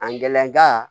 A gɛlɛnka